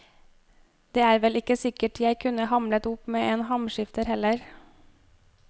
Det er vel ikke sikkert jeg kunne hamlet opp med en hamskifter heller.